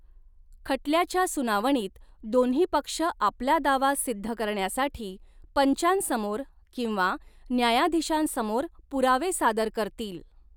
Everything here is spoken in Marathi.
खटल्याच्या सुनावणीत दोन्ही पक्ष आपला दावा सिद्ध करण्यासाठी पंचांसमोर किंवा न्यायाधीशांसमोर पुरावे सादर करतील.